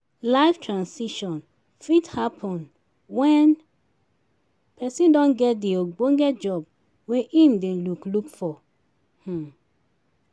life transition fit happen when person don get di ogbonge job wey im dey look look for um